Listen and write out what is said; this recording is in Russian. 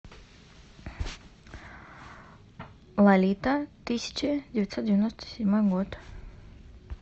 лолита тысяча девятьсот девяносто седьмой год